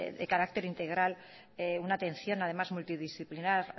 de carácter integral una atención además multidisciplinar